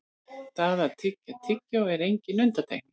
það að tyggja tyggjó er engin undantekning